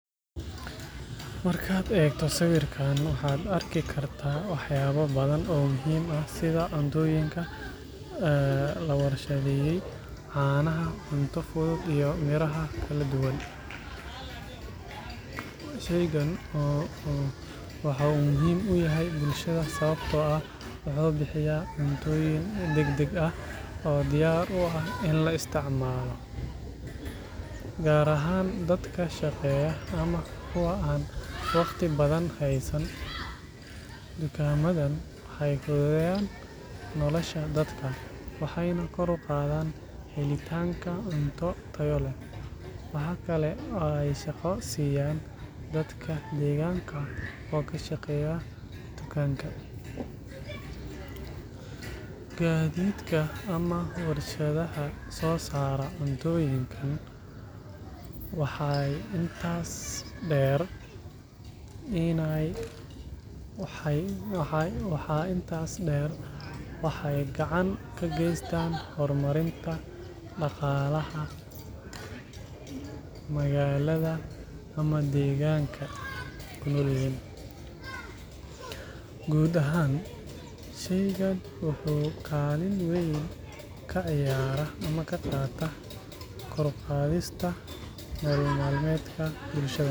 Markaad eegto sawirkan, waxaad arki kartaa waxyaabo badan oo muhiim ah sida cuntooyinka la warshadeeyay, caanaha, cunto fudud, iyo miraha kala duwan. Shaygan waxa uu muhiim u yahay bulshada sababtoo ah wuxuu bixiyaa cuntooyin degdeg ah oo diyaar u ah in la isticmaalo, gaar ahaan dadka shaqeeya ama kuwa aan waqti badan haysan. Dukaamadan waxay fududeeyaan nolosha dadka, waxayna kor u qaadaan helitaanka cunto tayo leh. Waxa kale oo ay shaqo siiyaan dadka deegaanka oo ka shaqeeya dukaanka, gaadiidka, ama warshadaha soo saara cuntooyinkan. Waxaa intaas dheer, waxay gacan ka geystaan horumarinta dhaqaalaha magaalada ama deegaanka. Guud ahaan, shaygan wuxuu kaalin weyn ka ciyaaraa kor u qaadista nolol maalmeedka bulshada.